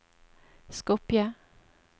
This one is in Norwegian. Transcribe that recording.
Skopje